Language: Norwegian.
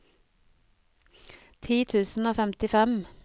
ti tusen og femtifem